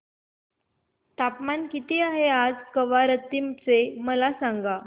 तापमान किती आहे आज कवारत्ती चे मला सांगा